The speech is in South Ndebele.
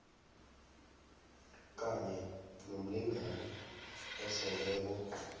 kanye nomlingani oseleko